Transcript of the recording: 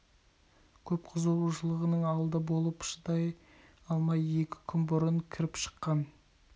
көп қызығушының алды болып шыдай алмай екі күн бұрын кіріп шыққан